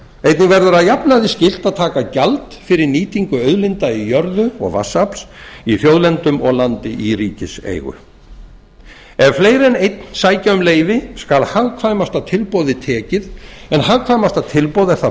einnig verður að jafnaði skylt að taka gjald fyrir nýtingu auðlinda í jörðu og vatnsafls í þjóðlendum og landi í ríkiseigu ef fleiri en einn sækja um leyfi skal hagkvæmasta tilboði tekið en hagkvæmasta tilboð er það